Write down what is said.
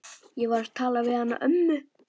Ég verð að tala við hana ömmu.